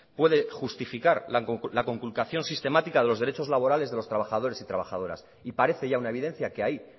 puede justificar la conculcación sistemática de los derechos laborales de los trabajadores y trabajadoras y parece ya una evidencia que ahí